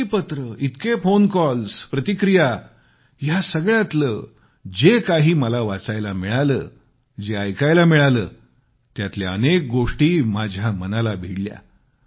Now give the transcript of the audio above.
इतकी पत्रेइतके phone calls प्रतिक्रिया या सगळ्यातले जे काही मला वाचायला मिळालं जे ऐकायला मिळालं त्यातल्या अनेक गोष्टी माझ्या मनाला भिडल्या